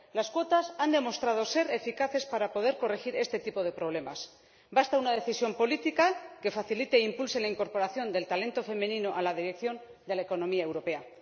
Las cuotas han demostrado ser eficaces para corregir este tipo de problemas basta una decisión política que facilite e impulse la incorporación del talento femenino a la dirección de la economía europea.